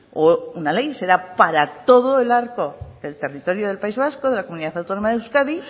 o una ley será para todo el arco del territorio del país vasco de la comunidad autónoma de euskadi